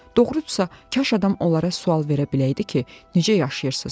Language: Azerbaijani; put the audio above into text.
Doğrudursa, kaş adam onlara sual verə biləydi ki, necə yaşayırsız?